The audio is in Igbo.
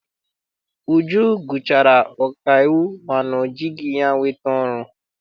Uju gụchara ọkaiwu mana ọ jighị ya wee nweta ọrụ.